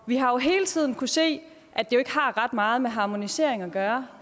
vi har jo hele tiden kunnet se at det ikke har ret meget med harmonisering at gøre